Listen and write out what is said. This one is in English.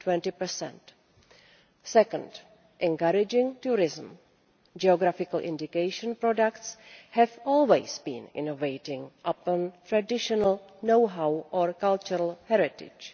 20. Second, encouraging tourism geographical indication products have always been innovating using traditional knowhow or cultural heritage.